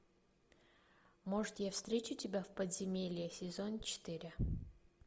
может я встречу тебя в подземелье сезон четыре